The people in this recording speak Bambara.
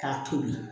K'a tobi